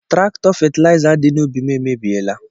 Trakọ fetiliza di n’ubi m emebiela